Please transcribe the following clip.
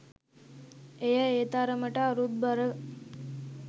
එය ඒ තරමට අරුත් බර